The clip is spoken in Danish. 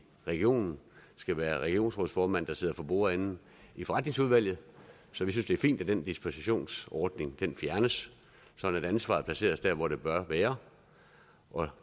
regionen skal være regionsrådsformanden der sidder for bordenden i forretningsudvalget så vi synes det er fint at den dispensationsordning fjernes sådan at ansvaret placeres der hvor det bør være